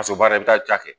Paseke baara i bɛ taa ja kɛ